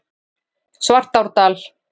Svartárdal